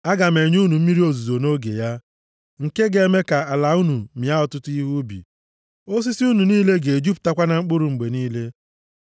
aga m enye unu mmiri ozuzo nʼoge ya, nke ga-eme ka ala unu mịa ọtụtụ ihe ubi. Osisi unu niile ga-ejupụtakwa na mkpụrụ mgbe niile.